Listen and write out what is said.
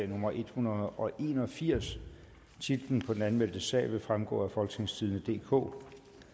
nummer en hundrede og en og firs titlen på den anmeldte sag vil fremgå af folketingstidende DK